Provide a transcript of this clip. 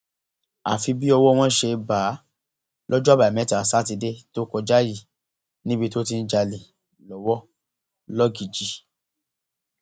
àfi bí ọwọ wọn ṣe bá a lọjọ àbámẹta sátidé tó kọjá yìí níbi tó ti ń jalè lọwọ lọgíjì